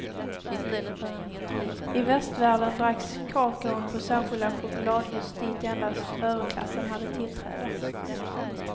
I västvärlden dracks kakaon på särskilda chokladhus dit endast överklassen hade tillträde.